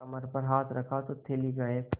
कमर पर हाथ रखा तो थैली गायब